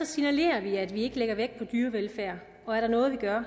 signalerer vi at vi ikke lægger vægt på dyrevelfærd og er der noget vi gør